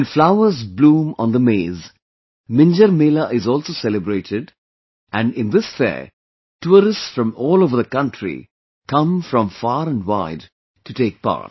When flowers bloom on the maize, Minjar Mela is also celebrated and in this fair, tourists from all over the country come from far and wide to take part